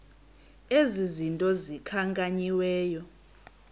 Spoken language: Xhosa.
ezi zinto zikhankanyiweyo